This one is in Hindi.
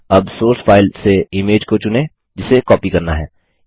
अब सोर्स फाइल से इमेज को चुनें जिसे कॉपी करना है